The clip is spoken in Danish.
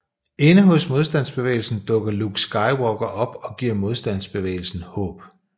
Inde hos Modstandsbevægelsen dukker Luke Skywalker op og giver Modstandsbevægelsen håb